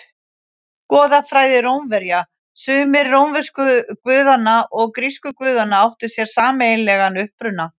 Goðafræði Rómverja Sumir rómversku guðanna og grísku guðanna áttu sér sameiginlegan uppruna.